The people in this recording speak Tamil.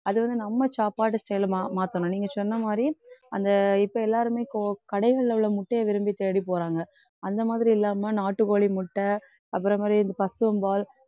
அது வந்து நம்ம சாப்பாடு சில மா~ மாத்தணும். நீங்க சொன்ன மாதிரி அந்த இப்ப எல்லாருமே கோ~ கடைகள்ல உள்ள முட்டையை விரும்பி தேடி போறாங்க அந்த மாதிரி இல்லாம நாட்டு கோழி முட்டை அப்புறம் மாதிரி இந்த பசும்பால்